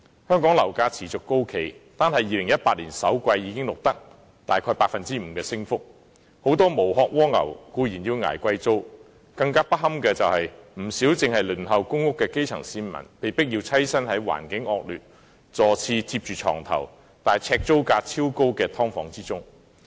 香港樓價持續高企，單是2018年首季已錄得約 5% 的升幅，很多"無殼蝸牛"固然要捱貴租，更不堪的是，不少正在輪候公屋的基層市民被迫棲身於環境惡劣、座廁貼着床頭，但呎租價超高的"劏房"之中。